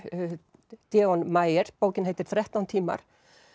Deon Meyer bókin heitir þrettán tímar